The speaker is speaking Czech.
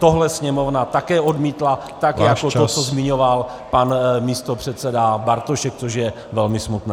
Tohle Sněmovna také odmítla tak jako to, co zmiňoval pan místopředseda Bartošek, což je velmi smutné.